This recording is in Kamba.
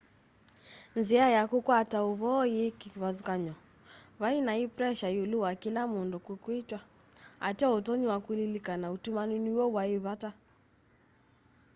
nzia ya kukwata uvoo yii kivathukany'o vai nai pressure iulu wa kila mundu kwitwa ateo utonyi wa kulilikana utumani niw'o wai vata